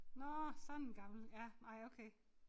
Nåh sådan gammel ja nej okay